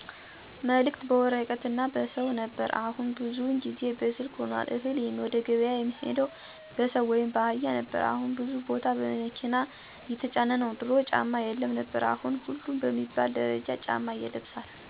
መልክት በወረቀት እና በሰው ነበር አሁን ብዙውን ጊዜ በስልክ ሁኗል፣ እህል ወደገብያ የሚሄደው በሰው ወይም ባህያ ነበር አሁን ብዙ ቦታ በመኪና እየተጫነ ነው፣ ድሮ ጫማ የለም ነበር አሁን ሁሉም በሚባል ደረጃ ጫማ ይለብሳል፣ ገንዘብ የሚቆጠበው በቤት ውስጥ ነበር አሁን አብዛኛው ሰው በባንክ ነው ሚቆጥብ እና ብዙ ያልጠቀስኳቸው አዎንታዊ ለዉጦች ሲሆኑ ባህልን መርሳት፣ ሴቶች ሱሪ መልበስ፣ ወንዶች ፀጉር ማሳደግ፣ አለመከባር ....አሉታዊ ለውጦችን አይቻለሁ።